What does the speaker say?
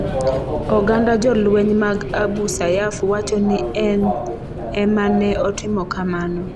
Oganda jolweny mag Abu Sayyaf wacho ni en e ma ne otimo kamano.